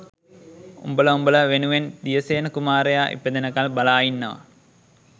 උඹල උඹල වෙනුවෙන් දියසේන කුමාරයා ඉපදෙනකල් බලා ඉන්නවා